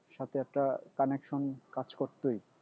সাথে একটা connection কাজ করতই